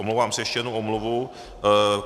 Omlouvám se, ještě jedna omluva.